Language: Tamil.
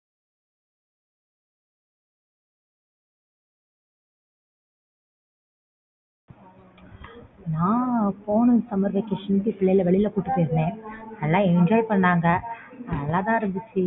நான் போன summer vacation பிள்ளைங்கள வெளியில கூட்டிட்டு போயிருந்தேன் நல்ல enjoy பண்ணாங்க நல்ல தான் இருந்துச்சு